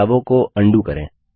बदलावों को अंडू करें